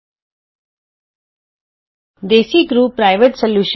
desi crew solutions private limited Desicrew solutions PVT